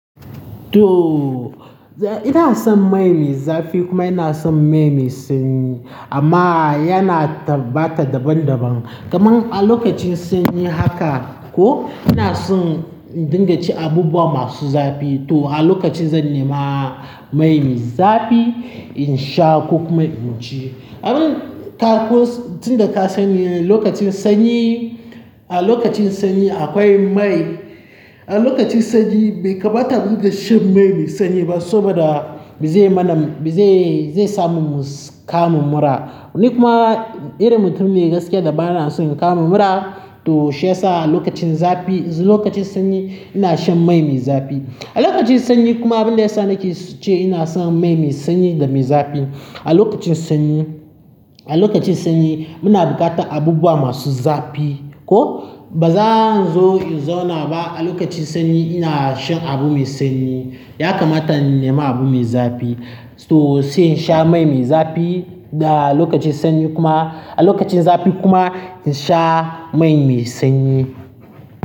To, ina son mai me zafi kuma ina son mai me sanyi amma yana tabbata daban daban. Kamar a lokacin sanyi haka ko ina son dinga ci abubuwa masu zafi to a lokacin zan nema mai me zafi in sha ko kuma in ci. Abin ka ko tinda ka sani lokacin sanyi, a lokacin sanyi akwai mai, a lokacin sanyi bai kamata mudinga shan mai me sanyi ba saboda zai mana, zai, zai samu mu kamu mura. Ni kuma irin mutum ne gaskiya da bana so inkama mura to shi yasa a lokacin zafi, lokacin sanyi ina shan mai me zafi. A lokacin sanyi kuma abin da yasa nake ce ina son mai me sanyi da me zafi. A lokacin sanyi, a lokacin sanyi muna buƙatan abubuwa masu zafi ko baza zo, zo inzona ba a lokacin sanyi ina shan abu me sanyi. Ya kamata innema abu me zafi to sai in sha mai me zafi da a lokacin sanyi kuma a lokacin zafi kuma in sha mai me sanyi.